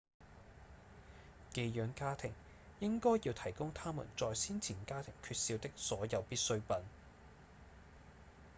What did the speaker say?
寄養家庭應該要提供他們在先前家庭缺少的所有必需品